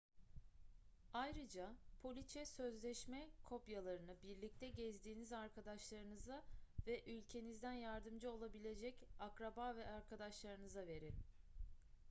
ayrıca poliçe/sözleşme kopyalarını birlikte gezdiğiniz arkadaşlarınıza ve ülkenizden yardımcı olabilecek akraba ve arkadaşlarınıza verin